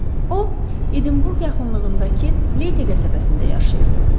O Edinburqa yaxınlığındakı Leyte qəsəbəsində yaşayırdı.